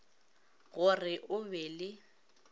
go re o be le